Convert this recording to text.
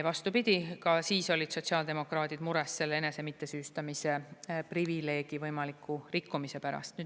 Vastupidi, ka siis olid sotsiaaldemokraadid mures selle enese mittesüüstamise privileegi võimaliku rikkumise pärast.